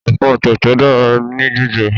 Ẹ̀fọ́ tẹ̀tẹ̀ dára ní jíjẹ